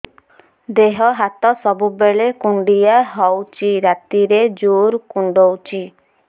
ଦେହ ହାତ ସବୁବେଳେ କୁଣ୍ଡିଆ ହଉଚି ରାତିରେ ଜୁର୍ କୁଣ୍ଡଉଚି